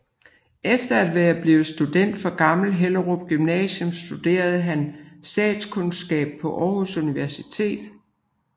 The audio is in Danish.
Efter at være blevet student fra Gammel Hellerup Gymnasium studerede han statskundskab på Aarhus Universitet